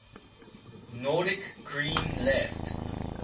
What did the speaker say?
nordic green left